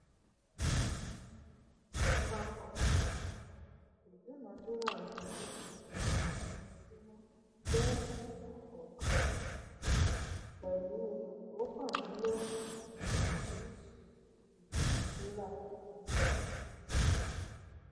um àpapọ um ìdúnádúrà ojoojúmọ ojoojúmọ jẹ ìwọn kọọkan um pẹlú óókàndínlógún oríṣiríṣi ìdúnádúràbi ṣiṣànwo